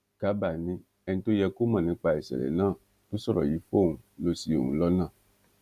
garba ni ẹni tó yẹ kó mọ nípa ìṣẹlẹ náà tó sọrọ yìí fóun lọ ṣi òun lọnà